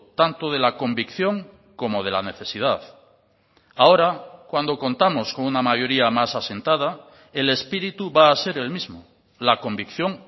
tanto de la convicción como de la necesidad ahora cuando contamos con una mayoría más asentada el espíritu va a ser el mismo la convicción